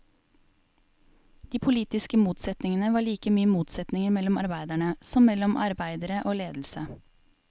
De politiske motsetningene var like mye motsetninger mellom arbeiderne, som mellom arbeidere og ledelse.